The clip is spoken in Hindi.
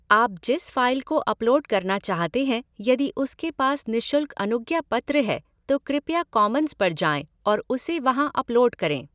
आप जिस फ़ाइल को अपलोड करना चाहते हैं यदि उसके पास निःशुल्क अनुज्ञापत्र है, तो कृपया कॉमन्स पर जाएं और उसे वहां अपलोड करें।